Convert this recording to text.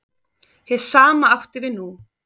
Hið sama átti við nú.